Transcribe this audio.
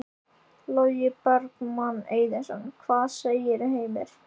Logi Bergmann Eiðsson: Hvað segirðu, Heimir?